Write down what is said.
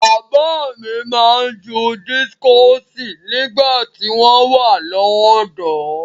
Bàbá mi máa ń ju dískọ̀sì nígbà tí wọ́n wà lọ́dọ̀ọ́.